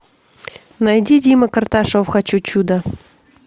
найди дима карташов хочу чуда